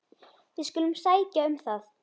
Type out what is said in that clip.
Við skulum sækja um það.